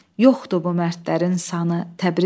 Yoxdu bu mərdlərin sanı Təbrizim!